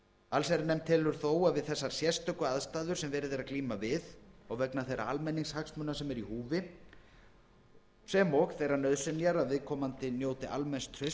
allsherjarnefnd telur þó að við þessar sérstöku aðstæður sem verið er að glíma við og vegna þeirra almenningshagsmuna sem í húfi eru sem og þeirrar nauðsynjar að viðkomandi njóti almenns trausts við